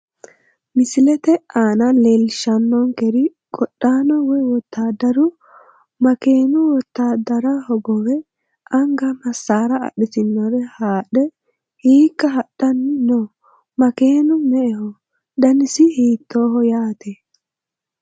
Misilete aana leelishanonker qodhaano woyiwotaaderu makeeni wotaadara hogobe anga masaara adhitinore haadhe hiika hadhani no makeenu me`eho danasino hiitoho yaate.